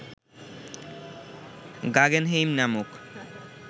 Guggenheim নামক